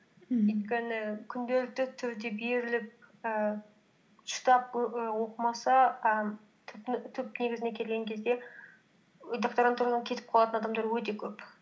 ммм өйткені күнделікті түрде беріліп ііі і оқымаса і түп негізіне келген кезде докторантурадан кетіп қалатын адамдар өте көп